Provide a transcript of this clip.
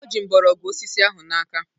O ji mgbọrọgwụ osisi ahụ n'aka